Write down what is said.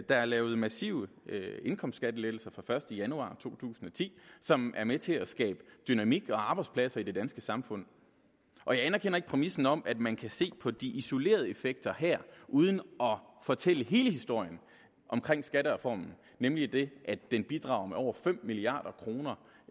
er lavet massive indkomstskattelettelser fra den første januar to tusind og ti som er med til at skabe dynamik og arbejdspladser i det danske samfund jeg anerkender ikke præmissen om at man kan se på de isolerede effekter her uden at fortælle hele historien omkring skattereformen nemlig den at den bidrager med over fem milliard kroner